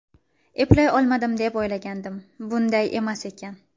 Eplay olmadim, deb o‘ylagandim, bunday emas ekan.